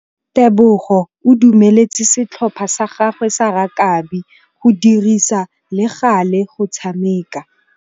Tebogô o dumeletse setlhopha sa gagwe sa rakabi go dirisa le galê go tshameka.